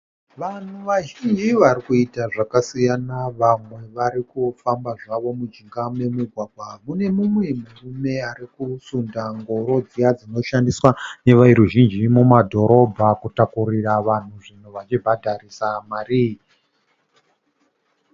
Vanhu vazhinji varikuita zvakasiyana. Vamwe Varikufamba zvavo mujinga memugwagwa. Mune mumwe murume arikusunda ngoro dziye dzinoshandiswa neveruzhinji mumadhorobha kutakurira vanhu zvinhu, vachibhadharisa mari.